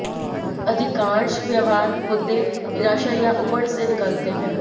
अधिकांश व्यवहार मुद्दे निराशा या ऊबड़ से निकलते हैं